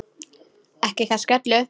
Ekki kannski öllu.